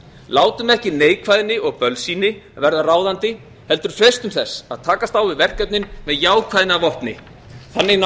látum ekki neikvæðni og bölsýni verða ráðandi heldur freistum þess að takast á við verkefnin með jákvæðni að vopni þannig